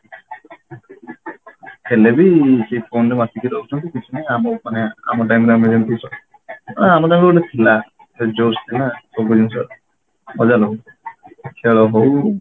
ହେଲେ ବି ସେଇ phone ରେ ମାତିକି ରହୁଛନ୍ତି କିଛି ନାଇଁ ଆମକୁ ମାନେ ଆମ time ରେ ଆମେ ଯେମିତି ସବୁ ଆ ଆମ time ରେ ଗୋଟେ ଥିଲା ଯୋଶ ଥିଲା ସବୁ ଜିନିଷ ମଜା ନଉଥିଲେ ଖେଳ ହଉ